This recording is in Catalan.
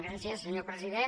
gràcies senyor president